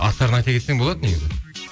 аттарын айта кетсең болады негізі